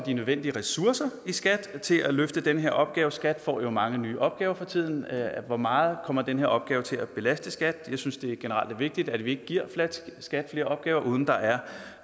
de nødvendige ressourcer i skat til at løfte den her opgave og skat får jo mange nye opgaver for tiden hvor meget kommer den her opgave til at belaste skat jeg synes at det generelt er vigtigt at vi ikke giver skat flere opgaver uden der er